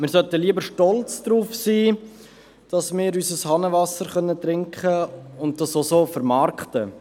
Wir sollten lieber stolz darauf sein, dass wir unser Hahnenwasser trinken können und sollten das auch so vermarkten.